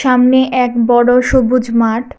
সামনে এক বড় সবুজ মাঠ।